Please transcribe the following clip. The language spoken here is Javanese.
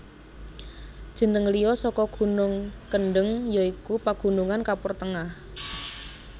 Jeneng liya saka gunung Kendeng ya iku Pagunungan Kapur Tengah